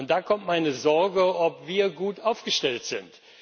Da kommt meine Sorge, ob wir gut aufgestellt sind.